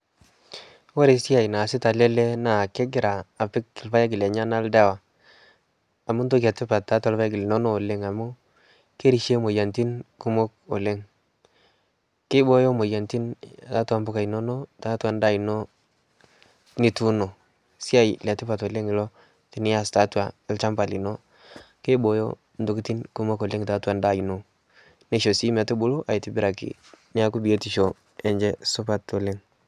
kore siai naasita ale ale lee naa kegira apik lpaeg lenyana ldawa amu ntoki ee tipat taatua lpaeg linono amu kerishie moyaritin kumok oleng keibooyo moyanitin taatua mpuka inono taatua ndaa inoo nituuno. Siai le tipat oleng iloo tiniaz taatua lshampa linoo keibooyo ntokitin kumok oleng taatua ndaa inoo neishoo sii metubulu aitibiraki peaku biotisho enshe supat oleng.